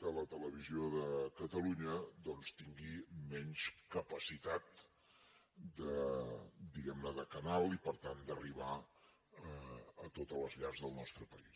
que la televisió de catalunya doncs tingui menys capacitat diguemne de canal i per tant d’arribar a totes les llars del nostre país